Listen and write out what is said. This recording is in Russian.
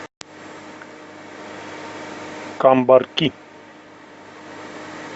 камбарки